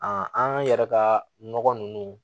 an yɛrɛ ka nɔgɔ ninnu